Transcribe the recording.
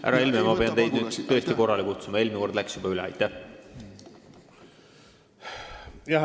Härra Helme, ma pean teid nüüd tõesti korrale kutsuma, eelmine küsimus juba läks liiga pikaks.